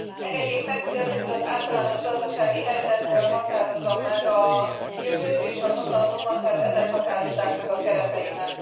Engedjék meg, hogy először az általános gazdasági helyzetből határozzam meg a jövőt és a mondandómat, mert ezek határozzák meg a kereteimet.